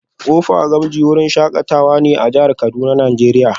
Kofa gamji wurin shakatawa ne a jihar Kuduna nigeria